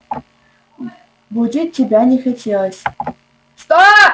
будить тебя не хотелось